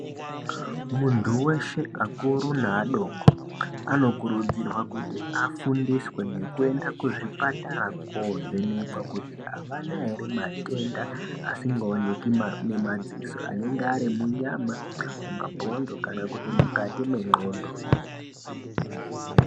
Muntu weshe akuru naadoko anokurudzirwa kuti afundiswe nekuenda kuzvipatara kovhenekwa kuti avana ere matenda asingaoneki nemadziso anenge ari munyama, mumabhonzo kana mukati mendxondo.